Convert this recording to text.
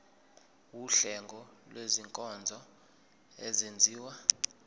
wuhlengo lwezinkonzo ezenziwa